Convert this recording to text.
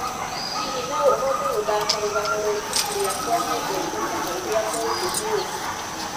hihi no ũhote gũthaaka rũgano rwa ibuku rĩakwa nyendete mũno rĩa mũndũ nĩ ũndũ